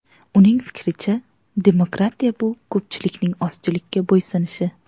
Uning fikricha, demokratiya bu ko‘pchilikning ozchilikka bo‘ysunishi.